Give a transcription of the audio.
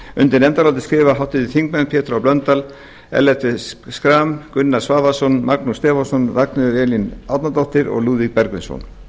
undir nefndarálitið skrifa háttvirtir þingmenn pétur h blöndal ellert b schram gunnar svavarsson magnús stefánsson ragnheiður e árnadóttir og lúðvík bergvinsson